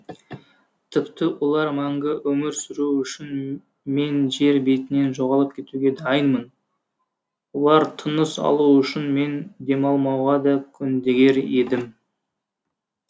тіпті олар мәңгі өмір сүруі үшін мен жер бетінен жоғалып кетуге дайынмын олар тыныс алу үшін мен демалмауға да көндігер едім